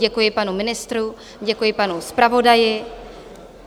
Děkuji panu ministrovi, děkuji panu zpravodaji.